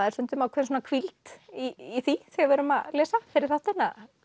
er stundum ákveðin hvíld í því þegar við erum að lesa fyrir þáttinn